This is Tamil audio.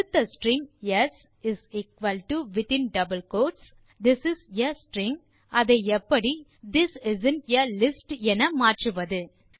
கொடுத்த string s this is a string அதை எப்படி திஸ் இஸ்ந்த் ஆ லிஸ்ட் என மாற்றுவது